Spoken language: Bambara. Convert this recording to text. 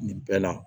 Nin bɛɛ la